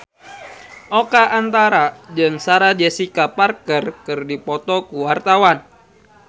Oka Antara jeung Sarah Jessica Parker keur dipoto ku wartawan